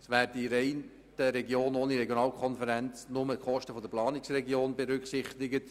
Es würden in den Regionen der Regionalkonferenz nur die Kosten der Planungsregionen berücksichtigt.